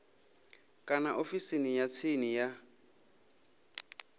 kana ofisini ya tsini ya